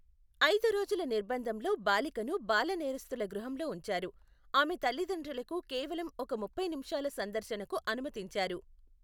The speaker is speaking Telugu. ఐదు రోజుల నిర్బంధంలో బాలికను బాల నేరస్తుల గృహంలో ఉంచారు, ఆమె తల్లిదండ్రులకు కేవలం ఒక ముప్పై నిమిషాల సందర్శనకు అనుమతించారు.